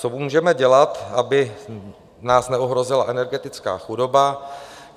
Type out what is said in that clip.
Co můžeme dělat, aby nás neohrozila energetická chudoba?